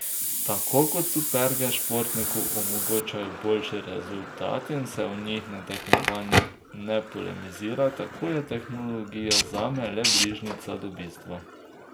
Tako kot superge športniku omogočajo boljši rezultat in se o njih na tekmovanjih ne polemizira, tako je tehnologija zame le bližnjica do bistva.